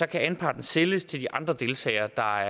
anparten sælges til de andre deltagere der